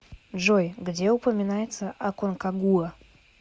джой где упоминается аконкагуа